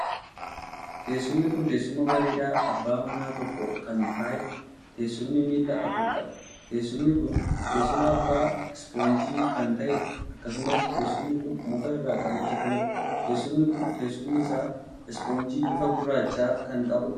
Teessumni kun teessuma bareedaa abbaa nama tokkoo kan taheedha. teessumni miilla afur qaba. teessumni kun teessuma abbaa ispoonjii kan ta'eedha. akkasumas teessumni kun muka irraa kan hojjetameedha. teessumni kun teessumni isaa ispoonjii bifa gurraacha kan qabuudha.